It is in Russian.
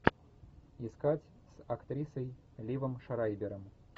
искать с актрисой ливом шрайбером